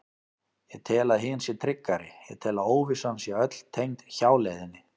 Ég tel að hin sé tryggari, ég tel að óvissan sé öll tengd hjáleiðinni.